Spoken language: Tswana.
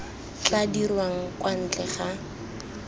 tla dirwang kwa ntle ga